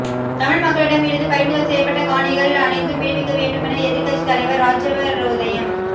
தமிழ் மக்களிடம் இருந்து பறிமுதல் செய்யப்பட்ட காணிகள் அனைத்தும் விடுவிக்க வேண்டுமென எதிர்க் கட்சித் தலைவர் இராஜவரோதயம்